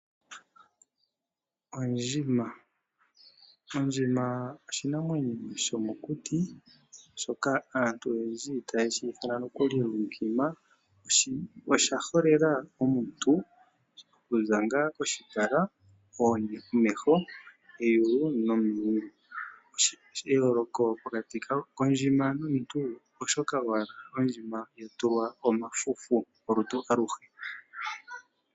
Ondjima oshinamwenyo shomokuti shoka aantu oyendji taye shi ula nokuli lunkima, osha holela omuntu okuza ngaa koshipala, omeho neyulu. Eyooloko pokati kondjima nomuntu oshoka owala ondjima ya tulwa omafufu kolutu aluhe.